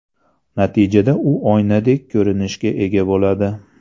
Natijada u oynadek ko‘rinishga ega bo‘ladi.